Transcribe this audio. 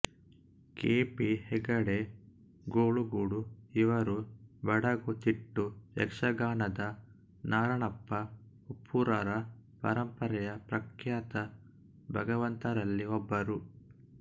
K P Hegde Golugodu ಇವರು ಬಡಗು ತಿಟ್ಟು ಯಕ್ಷಗಾನದ ನಾರಣಪ್ಪ ಉಪ್ಪೂರರ ಪರಂಪರೆಯ ಪ್ರಖ್ಯಾತ ಭಾಗವತರಲ್ಲಿ ಒಬ್ಬರು